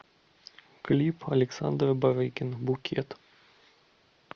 клип александра барыкина букет